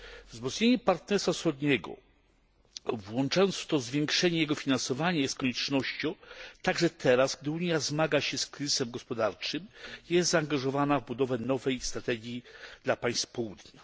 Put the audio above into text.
Wzmocnienie Partnerstwa Wschodniego, włączając w to zwiększenie jego finansowania, jest koniecznością także teraz, gdy Unia zmaga się z kryzysem gospodarczym i jest zaangażowana w budowę nowej strategii dla państw Południa.